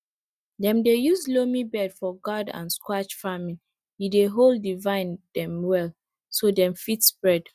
dem dey use loamy bed for gourd and squash farming e dey hold di vine dem well so dem fit spread